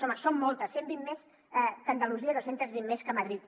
home són moltes cent vint més que andalusia i dos cents i vint més que madrid